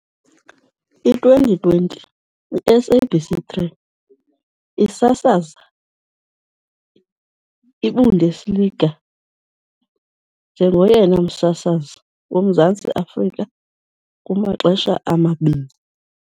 I-2020, iSabc 3 isasaza iBundesliga njengoyena msasazi woMzantsi Afrika kumaxesha amabini